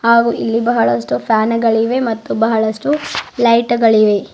ಹಾಗು ಇಲ್ಲಿ ಬಹಳಷ್ಟು ಫ್ಯಾನುಗಳಿವೆ ಮತ್ತು ಬಹಳಷ್ಟು ಲೈಟುಗಳಿವೆ.